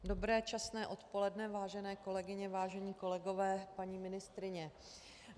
Dobré časné odpoledne, vážené kolegyně, vážení kolegové, paní ministryně.